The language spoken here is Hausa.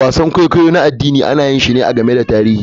Wasan kwaikwayo na addini ana yin shi ne a game da tarihi.